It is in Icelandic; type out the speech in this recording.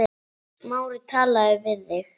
Smári talaði við þig?